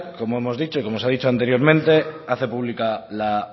como hemos dicho y como se ha dicho anteriormente hace pública la